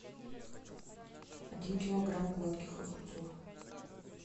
один килограмм гладких огурцов